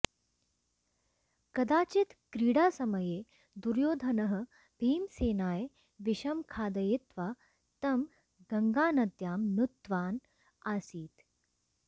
कदाचित् क्रीडासमये दुर्योधनः भीमसेनाय विषं खादयित्वा तं गङ्गानद्यां नुत्तवान् आसीत्